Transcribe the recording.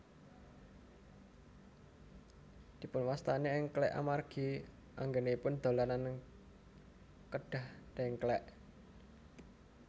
Dipunwastani èngklèk amargi anggènipun dolanan kedah dèngklèk